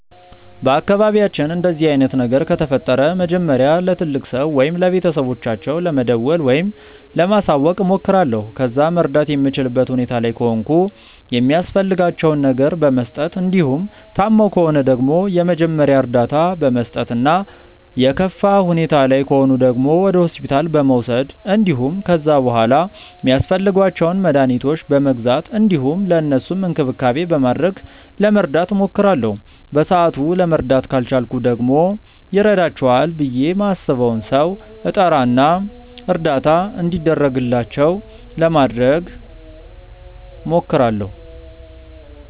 በአካባቢያችን እንደዚህ አይነት ነገር ከተፈጠረ መጀመሪያ ለትልቅ ሰው ወይም ለቤተሰቦቻቸው ለመደወል ወይም ለማሳወቅ እሞክራለሁ። ከዛ መርዳት የምችልበት ሁኔታ ላይ ከሆንኩ የሚያስፈልጋቸውን ነገር በመስጠት እንዲሁም ታመው ከሆነ ደግሞ የመጀመሪያ እርዳታ በመስጠት እና የከፋ ሁኔታ ላይ ከሆኑ ደግሞ ወደ ሆስፒታል በመውሰድ እንዲሁም ከዛ በሗላ ሚያስፈልጓቸውን መድኃኒቶች በመግዛት እንዲሁም ለእነሱም እንክብካቤ በማድረግ ለመርዳት እሞክራለሁ። በሰአቱ ለመርዳት ካልቻልኩ ደግሞ ይረዳቸዋል ብዬ ማስበውን ሰው እጠራ እና እርዳታ እንዲደረግላቸው ለማድረግ እሞክራለሁ።